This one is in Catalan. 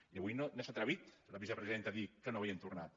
i avui no s’ha atrevit la vicepresidenta a dir que no ho havien tornat